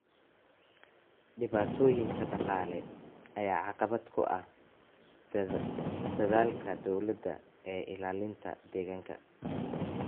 Dhibaatooyinka dhaqaale ayaa caqabad ku ah dadaalka dowladda ee ilaalinta deegaanka.